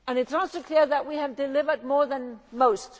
It is also clear that we have delivered more than most.